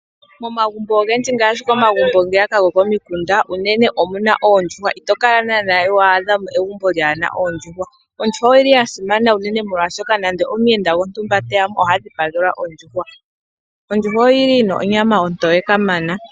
Momagumbo ogendji ngaashi komagumbo ngeya ka gokomikunda unene omuna oondjuhwa ito kala naana wa adha mo egumbo lyaana oondjuhwa, Ondjuhwa oyili yasimana unene molwashoka nande omuyenda gwontumba te ya po oha dhipagelwa ondjuhwa. Ondjuhwa oyi li yina onyama ontoye kamana.